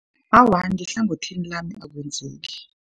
Awa, ngehlangothini lami akwenzeki.